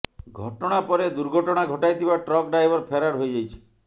ଘଟଣା ପରେ ଦୁର୍ଘଟଣା ଘଟାଇଥିବା ଟ୍ରକ ଡ୍ରାଇଭର ଫେରାର ହୋଇଯାଇଛି